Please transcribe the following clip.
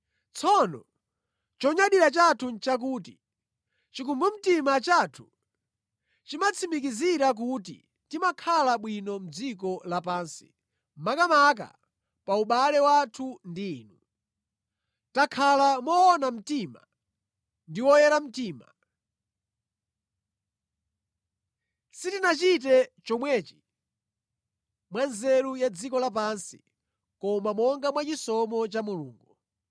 Tsono chonyadira chathu nʼchakuti, chikumbumtima chathu chimatitsimikizira kuti timakhala bwino mʼdziko lapansi, makamaka pa ubale wathu ndi inu. Takhala moona mtima ndi oyera mtima. Sitinachite chomwechi mwa nzeru ya dziko lapansi koma monga mwa chisomo cha Mulungu.